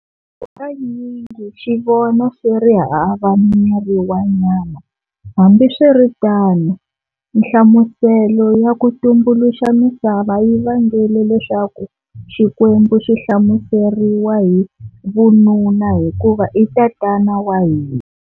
Hakanyingi xi vona xi ri hava miri wa nyama, hambiswiritano nhlamuselo ya ku tumbuluxa misava yi vangele leswaku xikwembu xihlamuseriwa hi vununa hikuva i Tanana wa Hina.